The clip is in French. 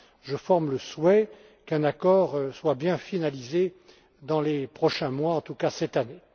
Je forme le souhait qu'un accord soit bien finalisé dans les prochains mois, et en tout cas cette année.